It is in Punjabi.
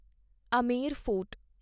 ਅਮੇਰ ਫੋਰਟ